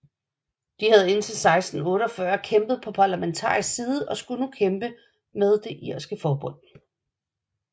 De havde indtil 1648 kæmpet på parlamentarisk side og skulle nu kæmpe med det irske forbund